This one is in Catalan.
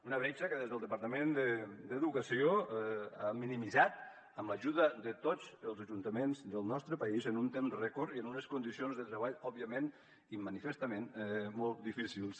una bretxa que des del departament d’educació han minimitzat amb l’ajuda de tots els ajuntaments del nostre país en un temps rècord i amb unes condicions de treball òbviament i manifestament molt difícils